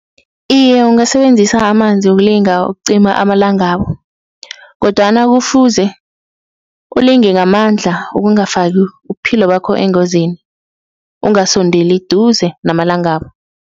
Iye, ungasebenzisa amanzi ukulinga ukucima amalangabu, kodwana kufuze ulinge ngamandla ukungafaki ubuphilo bakho engozini, ungasondeli duze namalangabu.